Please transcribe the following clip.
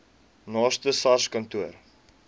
naaste sars kantoor